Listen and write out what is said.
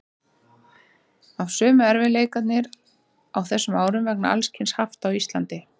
Alltaf sömu erfiðleikarnir á þessum árum vegna alls kyns hafta á Íslandi.